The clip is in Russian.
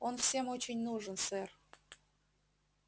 он всем очень нужен сэр